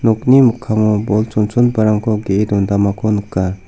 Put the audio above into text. nokni mikkango bol chonchongiparangko ge·e dondamako nika.